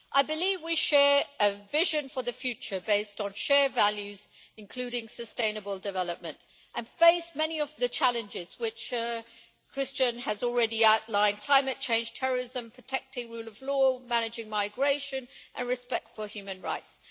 I believe we share a vision for the future based on shared values, including sustainable development. We face many of the challenges which Cristian has already outlined climate change, terrorism, protecting the rule of law, managing migration and respect for human rights.